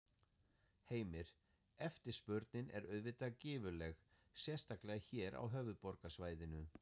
Heimir: Eftirspurnin er auðvitað gífurleg, sérstaklega hér á höfuðborgarsvæðinu?